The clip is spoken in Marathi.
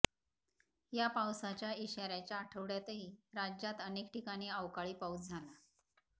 या पावसाच्या इशाऱ्याच्या आठवड्यातही राज्यात अनेक ठिकाणी अवकाळी पाऊस झाला